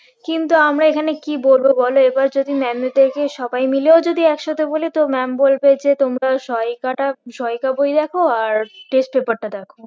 কিন্তু আমরা এখানে কি বলবো বলো এবার যদি maam দের কে সবাই মিলেও যদি একসাথে বলি তো maam বলবে যে তোমরা সহায়িকাটা সহায়িকা বই দেখো আর test paper টা দেখো